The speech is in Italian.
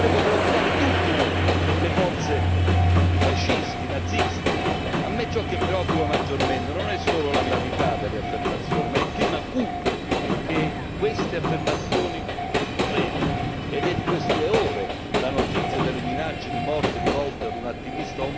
A me ciò che preoccupa maggiormente non è solo la gravità delle affermazioni, ma il clima cupo che queste affermazioni creano, ed è di queste ore la notizia delle minacce di morte rivolte a un attivista omosessuale a Budapest a cui va tutta la mia e la nostra solidarietà.